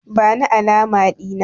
Bani alama Dina!